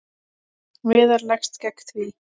Viðar leggst gegn því.